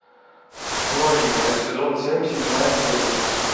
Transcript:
новенькая сезон семь седьмая серия